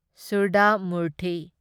Sudha Murthy